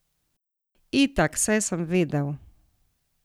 Itak, saj sem vedel.